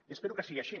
i espero que sigui així